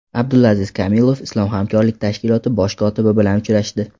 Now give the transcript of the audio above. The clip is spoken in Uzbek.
Abdulaziz Kamilov Islom hamkorlik tashkiloti bosh kotibi bilan uchrashdi.